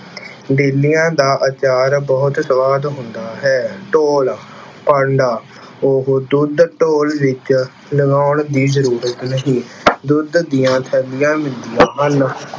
ਡੇਲਿਆਂ ਦਾ ਆਚਾਰ ਬਹੁਤ ਸੁਆਦ ਹੁੰਦਾ ਹੈ। ਢੋਲ- ਭਾਂਡਾ- ਉਹ ਦੁੱਧ ਢੋਲ ਵਿੱਚ ਲਗਾਉਣ ਦੀ ਜ਼ਰੂਰਤ ਨਹੀਂ, ਦੁੱਧ ਦੀਆਂ ਥੈਲੀਆਂ ਮਿਲਦੀਆਂ ਹਨ।